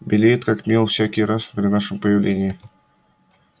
белеет как мел всякий раз при нашем появлении